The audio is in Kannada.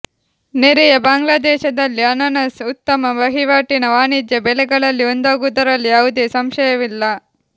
ನೆರೆಯ ಬಾಂಗ್ಲಾದೇಶದಲ್ಲಿ ಅನಾನಸ್ ಉತ್ತಮ ವಹಿವಾಟಿನ ವಾಣಿಜ್ಯ ಬೆಳೆಗಳಲ್ಲಿ ಒಂದಾಗುವುದರಲ್ಲಿ ಯಾವುದೇ ಸಂಶಯವಿಲ್ಲ